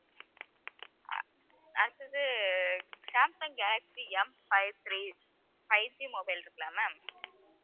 அடுத்தது Samsung Galaxy Mfive three 5G mobile இருக்குல்ல ma'am